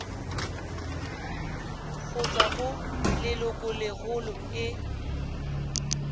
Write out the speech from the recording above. go tswa go lelokolegolo e